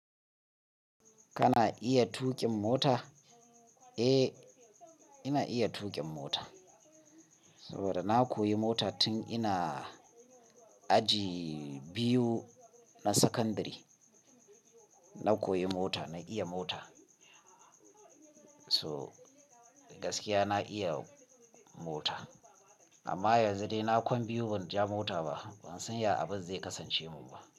Kana iya tuƙin mota? Eh, ina iya tuƙin mota saboda na koyi mota tun ina aji biyu na sakandare. Na koyi mota, na iya mota. So gaskiya na iya mota amma yanzu dai na Kwan biyu ban ja mota ba, ban san ya abin zai kasance mun ba.